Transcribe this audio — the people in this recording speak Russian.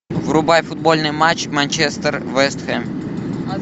врубай футбольный матч манчестер вест хэм